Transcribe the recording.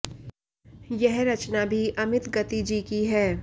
यह रचना भी अमित गति जी की है